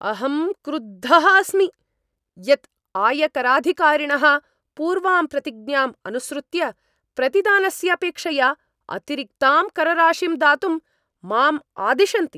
अहं क्रुद्धः अस्मि यत् आयकराधिकारिणः पूर्वाम् प्रतिज्ञाम् अनुसृत्य प्रतिदानस्य अपेक्षया अतिरिक्तां करराशिं दातुं माम् आदिशन्ति।